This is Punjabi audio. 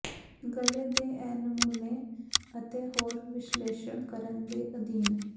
ਗਲ਼ੇ ਦੇ ਇਹ ਨਮੂਨੇ ਅਤੇ ਹੋਰ ਵਿਸ਼ਲੇਸ਼ਣ ਕਰਨ ਦੇ ਅਧੀਨ